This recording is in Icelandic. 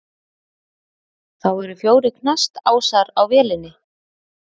Þá eru fjórir knastásar á vélinni.